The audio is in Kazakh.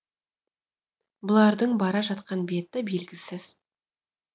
бұлардың бара жатқан беті белгісіз